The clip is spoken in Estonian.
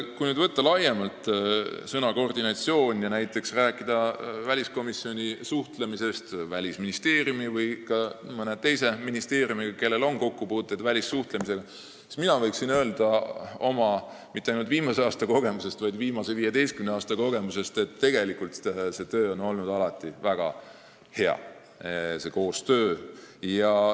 Kui võtta sõna "koordinatsioon" laiemalt ja rääkida näiteks väliskomisjoni suhtlemisest Välisministeeriumi või ka mõne teise ministeeriumiga, kellel on kokkupuuteid välissuhtlemisega, siis mina võin oma mitte ainult viimase aasta, vaid viimase 15 aasta kogemusest öelda, et tegelikult on see koostöö alati väga hea olnud.